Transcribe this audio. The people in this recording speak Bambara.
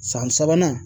San sabanan